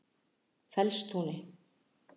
Fellstúni